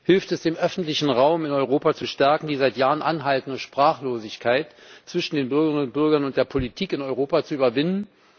Hilft es, den öffentlichen Raum in Europa zu stärken, die seit Jahren anhaltende Sprachlosigkeit zwischen den Bürgerinnen und Bürgern und der Politik in Europa zu überwinden?